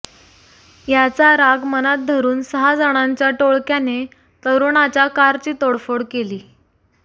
याचा राग मनात धरून सहा जणांच्या टोळक्याने तरुणाच्या कारची तोडफोड केली